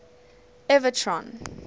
everton